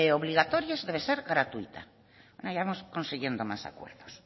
obligatorias debe ser gratuita ya vamos consiguiendo más acuerdos